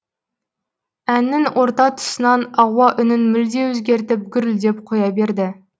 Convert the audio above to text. әннің орта тұсынан ауа үнін мүлде өзгертіп гүрілдеп қоя берді